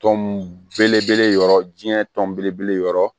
Tɔn belebele yɔrɔ diɲɛ tɔn belebele yɔrɔ